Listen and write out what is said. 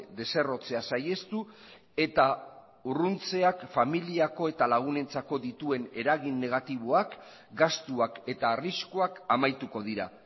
deserrotzea saihestu eta urruntzeak familiako eta lagunentzako dituen eragin negatiboak gastuak eta arriskuak amaituko dira